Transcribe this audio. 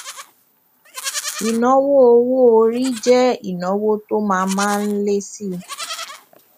ìnáwó owó orí jẹ ìnáwó tó má má ń lé síi